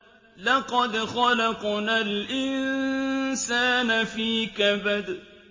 لَقَدْ خَلَقْنَا الْإِنسَانَ فِي كَبَدٍ